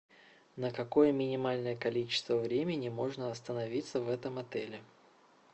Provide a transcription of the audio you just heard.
на какое минимальное количество времени можно остановиться в этом отеле